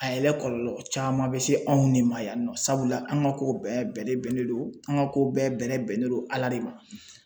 A yɛrɛ kɔlɔlɔ caman bɛ se anw ne ma yan nɔ sabula an ka kow bɛɛ bɛrɛ bɛnnen don an ka kow bɛɛ bɛrɛ bɛnnen don Ala de ma.